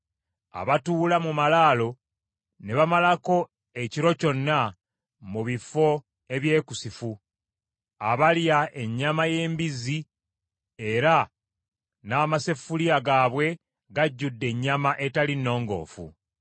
abatuula mu malaalo ne bamalako ekiro kyonna mu bifo ebyekusifu, abalya ennyama y’embizzi, era n’amaseffuliya gaabwe gajjudde ennyama etali nnongoofu.